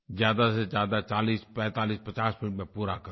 ज्यादा से ज्यादा 404550 मिनट में पूरा करूँ